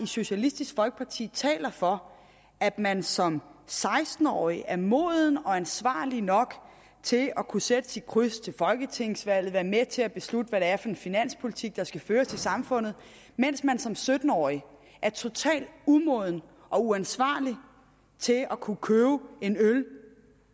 socialistisk folkeparti taler for at man som seksten årig er moden og ansvarlig nok til at kunne sætte sit kryds ved folketingsvalget være med til at beslutte hvad det er for en finanspolitik der skal føres i samfundet mens man som sytten årig er total umoden og uansvarlig til at kunne købe en øl